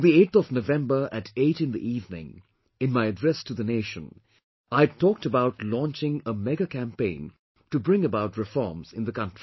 On the 8th of November at 8 in the evening, in my Address to the Nation, I had talked about launching a mega campaign to bring about reforms in the country